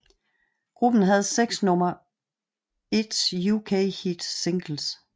Gruppen havde 6 nummer 1 UK hit singles